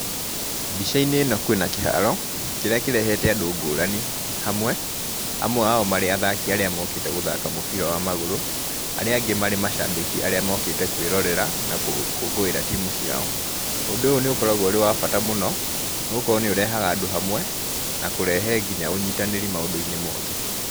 Mbica-inĩ ĩno kwĩna kĩharo, kĩrĩa kĩrehete andũ ngũrani hamwe, amwe ao marĩ athaki arĩa mokĩte gũthaka mũbira wa magũrũ, arĩa angĩ marĩ macabĩki arĩa mokĩte kwĩrorera na gũkũngũĩra timu ciao. Ũndũ ũyũ nĩ ũkoragwo ũrĩ wa bata mũno, nĩ gũkorwo nĩ ũrehaga andũ hamwe na kũrehe nginya ũnyitanĩri maũndũ-inĩ mothe.